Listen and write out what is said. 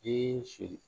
Den so